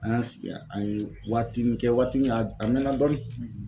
An y'an sigi an ye waatinin kɛ waati min a a mɛna dɔɔni.